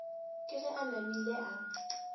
ke ge a namile a